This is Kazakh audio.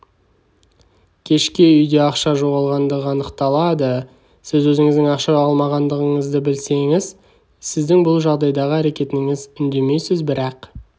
кешке үйде ақша жоғалғандығы анықталады сіз өзіңіздің ақша алмағаныңызды білесіз сіздің бұл жағдайдағы әрекетіңіз үндемейсіз бірақ